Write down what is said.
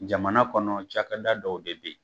Jamana kɔnɔ cakada dɔw de bɛ yen